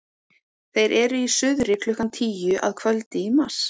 þeir eru í suðri klukkan tíu að kvöldi í mars